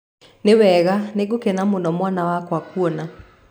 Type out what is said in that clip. Nĩ wega. Nĩ ngũkena mũno mwana wakwa kuona.